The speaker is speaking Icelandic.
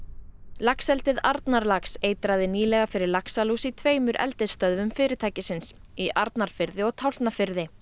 laxeldið Arnarlax eitraði nýlega fyrir laxalús í tveimur eldisstöðvum fyrirtæksins í Arnarfirði og Tálknafirði